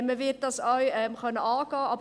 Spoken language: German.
Man wird das auch angehen können.